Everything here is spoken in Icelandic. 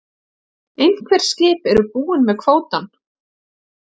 Einhver skip eru búin með kvótann